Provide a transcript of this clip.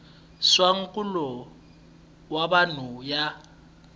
swa nkulo wa vanhu ya